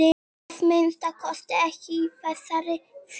Að minnsta kosti ekki í þessari fjöru.